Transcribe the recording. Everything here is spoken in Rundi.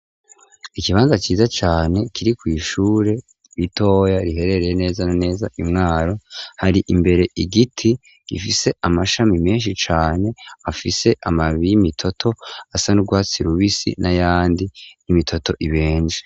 Ikibanza ciza cane kiri kw'ishure ritoya riherereye neza naneza imwaro hari imbere igiti gifise amashami menshi cane afise amabiy'imitoto asa n'urwatsi lubisi n'ayandi n'imitoto ibenje.